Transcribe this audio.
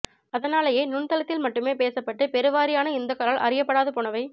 அதனாலேயே நுண்தளத்தில் மட்டுமே பேசப்பட்டு பெருவாரியான இந்துக்களால் அறியப்படாது போனவை